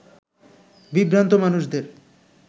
বিভ্রান্ত মানুষদের